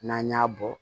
N'an y'a bɔ